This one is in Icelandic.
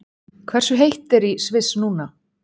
Hversu heitt er í Sviss núna?